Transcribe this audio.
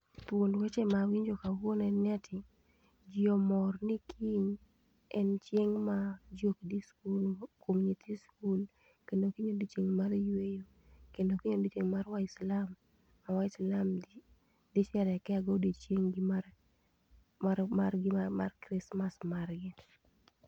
Thuond weche mawinjo kawuono en ni ati jii omor ni kiny en chieng ma jii okdhi e skul kuom nyithi skul kendo kiny en odiochieng mar yweyo kendo kiny en odiochieng mar Waislamu ma waislam dhi sherekea go odiochieng gi mar gi mar krismar margi